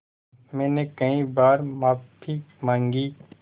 मैंने कई बार माफ़ी माँगी